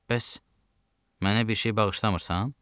Bəs mənə bir şey bağışlamırsan?